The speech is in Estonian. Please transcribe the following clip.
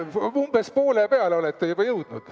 Umbes poole peale olete juba jõudnud.